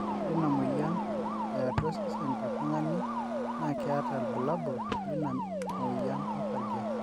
ore ina moyian eeh atua sosen tetungani na keeta ilbulabul lina miyian osarge